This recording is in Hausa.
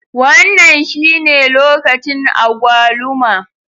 Wannan shine lokacin agwaluma.